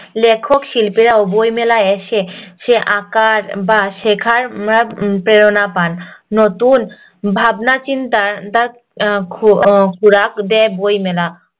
লেখক শিপ্লীরাও বই মেলায় এসে সে আঁকার বা শেখার উম প্রেরণা পান নতুন ভাবনা চিন্তা খুরাক দেয় বইমেলা